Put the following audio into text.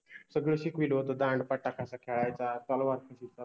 सगळ शिकविल होत दांडपट्टा कसा खेळायचा, तलवार कशि चालवाय्